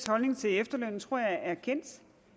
holdning til efterlønnen tror jeg er kendt